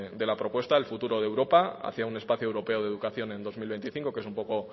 de la propuesta el futuro de europa hacia un espacio europeo de educación en dos mil veinticinco que es un poco